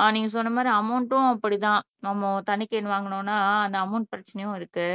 ஆஹ் நீங்க சொன்ன மாதிரி அமௌண்டும் அப்படித்தான் நம்ம தண்ணி கேன் வாங்கணும்னா இந்த அமௌன்ட் பிரச்சினையும் இருக்கு